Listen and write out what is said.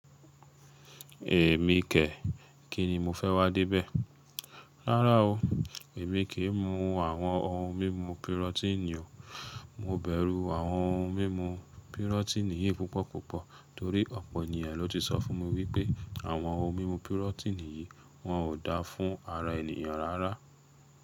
Èmi kẹ̀, kíni mo fẹ́ wá débẹ̀? Rárá o, èmi kì í mu àwọn ohun mímu pirotíìnì o. Mo bẹ̀rù àwọn ohun mímu pirotíìnì yìí púpọ̀ púpọ̀ torí ọ̀pọ̀ ènìyàn ló ti sọ fún mi wípé àwọn ohun mímu pirotíìnì yìí wọn ò dáa fún ara ènìyàn rárá.